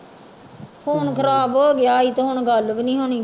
Phone ਖ਼ਰਾਬ ਹੋ ਗਿਆ ਇਹ ਤੇ ਹੁਣ ਗੱਲ ਵੀ ਨੀ ਹੋਣੀ